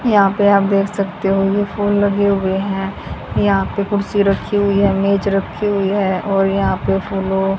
यहां पे आप देख सकते हो ये फूल लगे हुए हैं। यहां पे कुर्सी रखी हुई है मेज रखी हुई है और यहां पे फूलों--